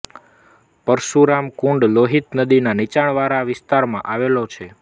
પરશુરામ કુંડ લોહિત નદીના નીચાણ વાળા વિસ્તારમાં આવેલો છે